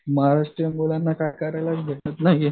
महाराष्ट्रीयन मुलांना काय करायचं भेटत नाही.